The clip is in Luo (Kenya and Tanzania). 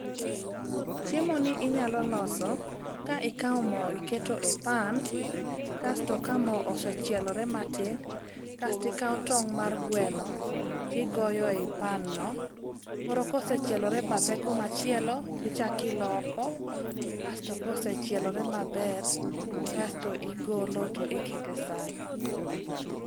Chiemoni inyalo loso ka ikawo mo iketo e pan kasto ka mo osechioelore matin kastikawo tong' mar gweno tigoyo e panno koro kosechielore badhe kumachielo tichaki iloko kasto kosechielore maber asto igolo to iketo e san.